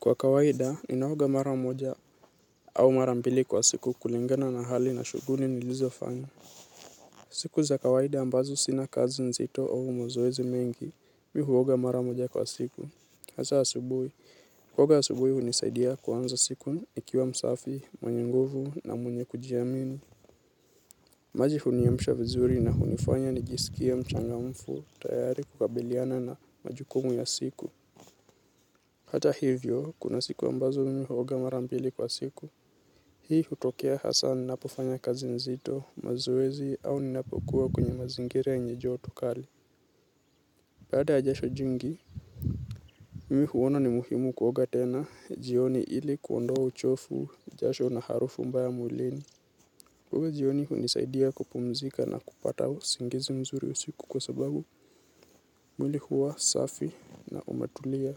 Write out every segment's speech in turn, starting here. Kwa kawaida, ninaoga mara moja au mara mbili kwa siku kulingana na hali na shughuli nilizofanya. Siku za kawaida ambazo sina kazi nzito au mazoezi mengi, mimi huoga mara moja kwa siku. Hasa asubuhi, huoga asubui hunisaidia kuanza siku nikiwa msafi, mwenye nguvu na mwenye kujiamini. Maji huniamisha vizuri na hunifanya nijisikie mchangamfu, tayari kukabiliana na majukumu ya siku. Hata hivyo, kuna siku ambazo mihuoga marambili kwa siku. Hii hutokea hasa ninapofanya kazi nzito, mazoezi au ninapokuwa kwenye mazingira yenye joto kali. Baada ya jasho jingi, mimi huona ni muhimu kuoga tena jioni ili kuondoa uchofu, jasho na harufu mbaya mwilini. Kuoga jioni hunisaidia kupumzika na kupata usingizi mzuri usiku kwa sababu mwili huwa safi na umetulia.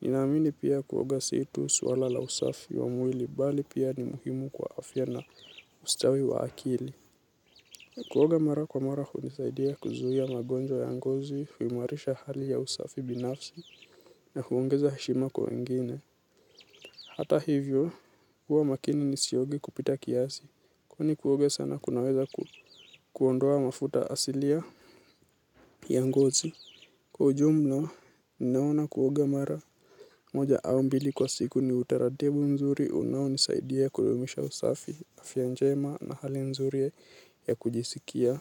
Ninaamini pia kuoga si tu swala la usafi wa mwili, bali pia ni muhimu kwa afya na ustawi wa akili. Kuoga mara kwa mara hunisaidia kuzuia magonjwa ya ngozi huimarisha hali ya usafi binafsi na huongeza heshima kwa wengine. Hata hivyo, huwa makini nisioge kupita kiasi, kwani kuoga sana kunaweza kuondoa mafuta asilia ya ngozi. Kwa ujumla, ninaona kuoga mara moja au mbili kwa siku ni utaratibu mzuri unaonisaidia kudumisha usafi afya njema na hali nzuri ya kujisikia.